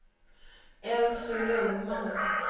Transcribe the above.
Elsy Lundmark